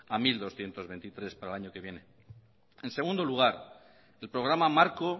a mil doscientos veintitrés para el año que viene en segundo lugar el programa marco